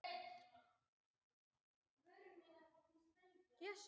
Mynd sem þessi getur blekkt mannsaugað.